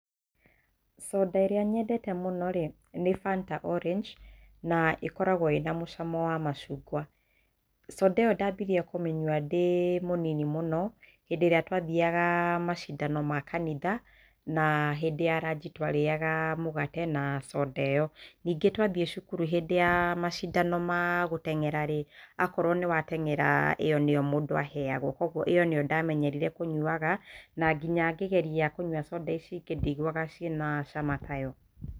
Soda ĩrĩa nyendete mũno rĩ nĩ Fanta Orange na ĩkoragwo ĩna mũcamo wa macungwa, cs] Soda ĩyo ndambĩrĩirie kũmĩnyua ndĩ mũnini mũno hĩndĩ ĩrĩa ndathiaga macindano ma kanitha na hĩndĩ ya ranji twarĩaga mũgate na cs] Soda ĩyo, ningĩ twathiĩ cukuru hĩndĩ ya macindano ma gũteng'era rĩ akorwo nĩ wa teng'era ĩyo nĩyo mũndũ aheagwo, kwoguo ĩyo nĩyo ndamenyerire kũnyuaga na nginya ingĩgeria kũnyua cs] Soda ici ingĩ ndiguaga ciĩ na ciama tayo.